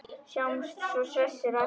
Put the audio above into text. Sjáumst svo hressir á eftir.